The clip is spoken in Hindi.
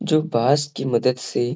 जो बास कि मदद से --